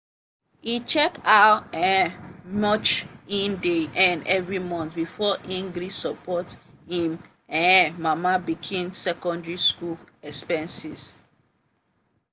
e check how um much e dey earn every month before e gree support im um mama pikin secondary school expenses.